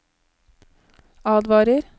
advarer